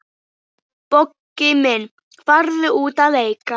Bogga mín, farðu út að leika.